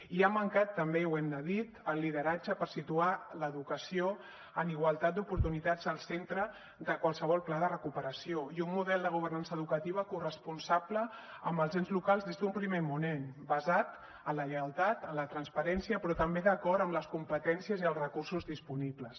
i ha mancat també ho hem de dir el lideratge per situar l’educació en igualtat d’oportunitats al centre de qualsevol pla de recuperació i un model de governança educativa corresponsable amb els ens locals des d’un primer moment basat en la lleialtat en la transparència però també d’acord amb les competències i els recursos disponibles